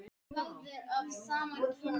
Lægstir voru svo hinir ósnertanlegu.